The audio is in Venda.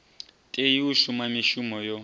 tei u shuma mishumo yo